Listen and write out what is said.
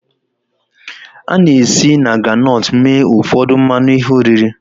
A na-esi na groundnut mee ụfọdụ mmanụ ihe oriri